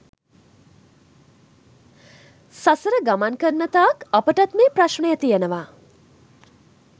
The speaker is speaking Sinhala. සසර ගමන් කරන තාක් අපටත් මේ ප්‍රශ්නය තියෙනවා.